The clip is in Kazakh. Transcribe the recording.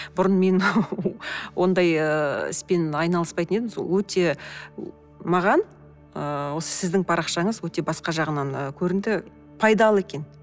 бұрын мен ондай іспен айналыспайтын едім өте маған ыыы осы сіздің парақшаңыз өте басқа жағынан ы көрінді пайдалы екен